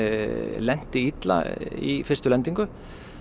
lenti illa í fyrstu lendingu